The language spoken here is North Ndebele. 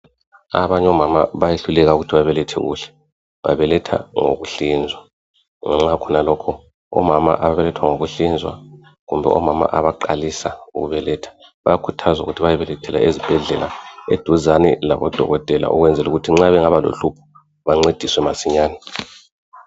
Abany'omama bayehluleka ukuthi babelethe kuhle. Babeletha ngokuhlinzwa. Ngenxa yakhonalokho, omama ababeletha ngokuhlinzwa kumbe omama abaqalisa ukubeletha, bayakhuthazwa ukuthi bayobelethela ezibhedlela, eduzane labodokotela, ukwenzela ukuthi nxa bengaba lohlupho bancediswe masinyane.